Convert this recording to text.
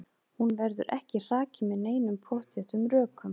Hún verður ekki hrakin með neinum pottþéttum rökum.